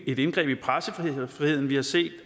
et indgreb i pressefriheden vi har set